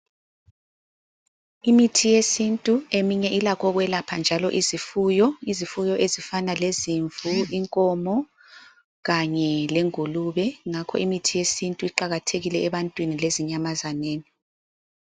Imithi yesintu eminye ilakho ukwelapha njalo izifuyo, Izifuyo ezifana lezimvu ,inkomo , kanye le ngulube ngakho imithi yesintu iqakathekile ebantwini lezinyamazaneni.